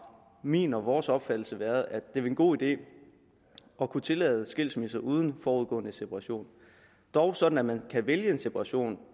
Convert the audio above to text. min og vores opfattelse været at det er en god idé at kunne tillade skilsmisser uden forudgående separation dog sådan at man kan vælge en separation